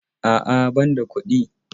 A'a ,banda kuɗi.